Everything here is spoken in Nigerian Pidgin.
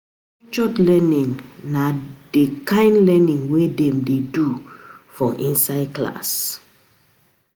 Structured learning na di kind learning wey Dem do wey Dem do for inside class